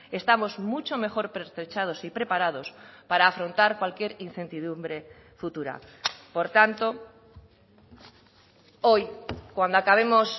estamos mucho mejor pertrechados y preparados para afrontar cualquier incertidumbre futura por tanto hoy cuando acabemos